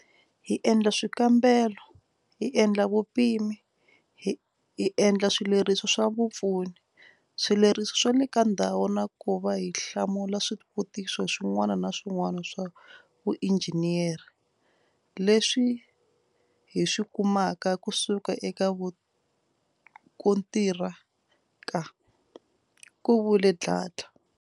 Hi endla swika mbelo, hi endla vupimi, hi endla swileriso swa vupfuni, swileriso swa le ka ndhawu na ku va hi hlamula swivutiso swin'wana na swin'wana swa vuinjhiniyere leswi hi swi ku maka kusuka eka mukontira ka, ku vule Dladla.